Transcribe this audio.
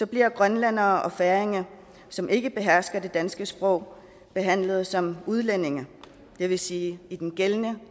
bliver grønlændere og færinger som ikke behersker det danske sprog behandlet som udlændinge det vil sige i den gældende